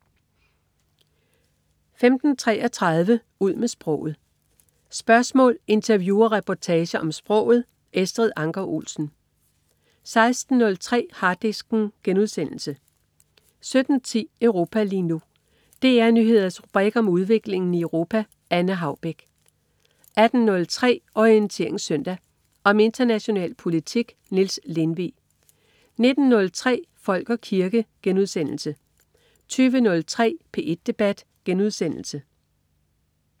15.33 Ud med sproget. Spørgsmål, interview og reportager om sproget. Estrid Anker Olsen 16.03 Harddisken* 17.10 Europa lige nu. DR Nyheders rubrik om udviklingen i Europa. Anne Haubek 18.03 Orientering Søndag. Om international politik. Niels Lindvig 19.03 Folk og kirke* 20.03 P1 Debat*